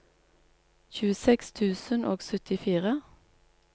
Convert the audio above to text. tjueseks tusen og syttifire